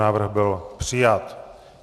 Návrh byl přijat.